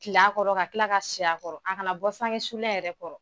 Til'a kɔrɔ ka tila ka si a kɔrɔ, a kana bɔ saŋe sulen yɛrɛ kɔrɔ